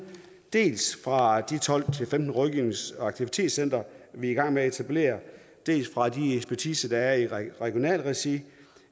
dels fra de tolv til femten rådgivnings og aktivitetscentre vi er i gang med at etablere dels fra de ekspertiser der er i regionalt regi